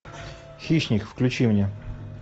хищник включи мне